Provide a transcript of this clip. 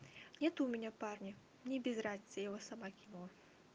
нет у меня парня мне без разницы я его сама кинула